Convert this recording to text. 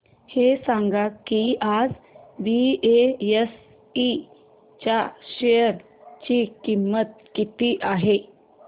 हे सांगा की आज बीएसई च्या शेअर ची किंमत किती आहे